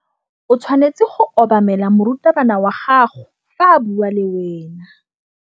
O tshwanetse go obamela morutabana wa gago fa a bua le wena.